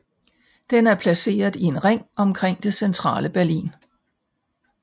Den er placeret i en ring omkring det centrale Berlin